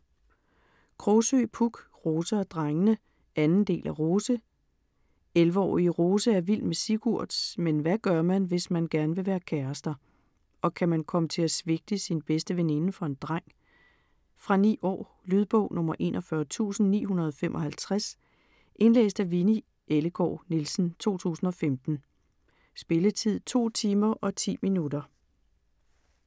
Krogsøe, Puk: Rose og drengene 2. del af Rose. 11-årige Rose er vild med Sigurd. Men hvad gør man, hvis man gerne vil være kærester? Og kan man komme til at svigte sin bedste veninde for en dreng? Fra 9 år. Lydbog 41955 Indlæst af Winni Ellegaard Nielsen, 2015. Spilletid: 2 timer, 10 minutter.